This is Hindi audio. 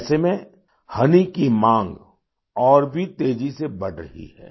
ऐसे में होनी की माँग और भी तेजी से बढ़ रही है